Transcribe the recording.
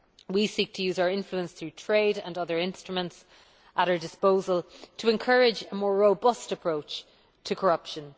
We seek to use our influence through trade and other instruments at our disposal to encourage a more robust approach to corruption.